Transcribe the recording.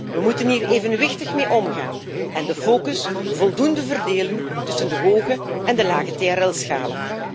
We moeten hier evenwichtig mee omgaan en de focus voldoende verdelen tussen de hoge en de lage TRL schalen.